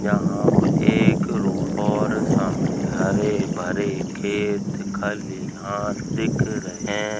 यहाँ पर एक रोड और सामने हरे भरे खेत खलियान दिख रहे --